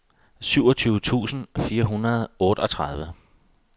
syvogtyve tusind fire hundrede og otteogtredive